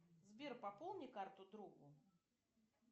сбер пополни карту другу